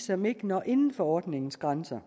som ikke når inden for ordningens grænser